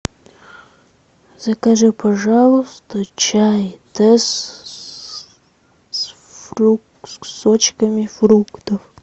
закажи пожалуйста чай тесс с кусочками фруктов